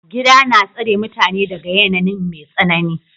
Gida na tsare mutane daga yanayin mai tsanani.